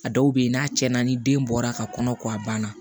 A dɔw bɛ yen n'a tiɲɛna ni den bɔra ka kɔnɔ ko a banna